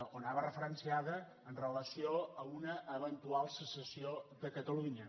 o anava referenciada amb relació a una eventual secessió de catalunya